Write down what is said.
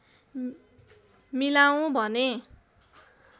मिलाऊँ भनेँ